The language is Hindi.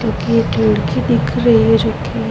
क्यूकि एक खिड़की दिख रही है जोकि --